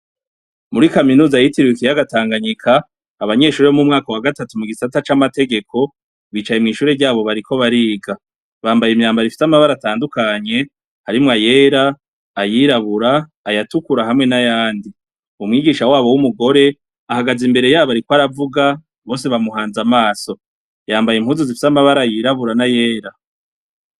Murikaminuza yitiriwe ikiyaga tanganyika abanyeshure bo mumwaka wa gatandatu mugisata camategeko bicaye mwishure ryabo bariko bariga bambaye imyambaro ifise amabara atandukanye harimwo ayera ayirabura ayatukura hamwe nayandi umwigisha wabo wumugore ahagaze imbere yabo ariko aravuga bose bamuhaze amaso yambaye impuzu zifise amabara yirabura nayera